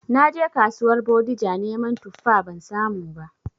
Naje kasuwar Bodija neman tuffa ban samu ba